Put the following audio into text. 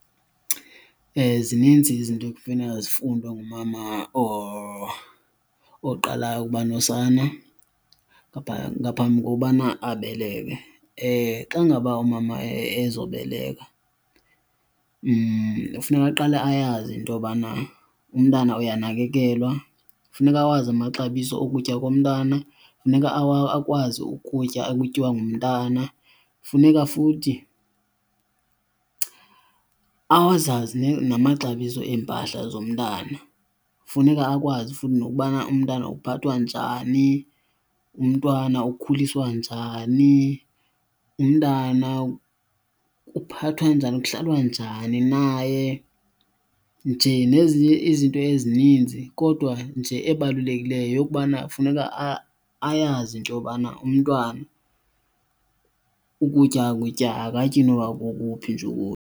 Zininzi izinto ekufuneka zifundwe ngumama oqalayo ukubanosana ngaphambi kokubana abeleke. Xa ngaba umama ezobaleka kufuneka ayazi into yobana umntana uyanakekelwa. Funeka awazi amaxabiso okutya komntana funeka, akwazi ukutya okutyiwa ngumntana, funeka futhi azazi namaxabiso empahla zomntwana. Funeka akwazi futhi nokubana umntana uphathwa njani, umntwana ukhuliswa njani, umntana kuphathwa kuhlalwa njani naye nje nezinye izinto ezininzi. Kodwa nje ebalulekileyo yeyokubana funeka ayazi into yobana umntwana ukutya kutya akatyi nokuba kokuphi nje .